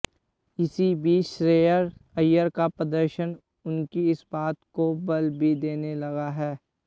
इसी बीच श्रेयस अय्यर का प्रदर्शन उनकी इस बात को बल भी देने लगा है